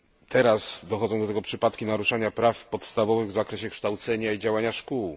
Teraz dochodzą do tego przypadki naruszania praw podstawowych w zakresie kształcenia i działania szkół.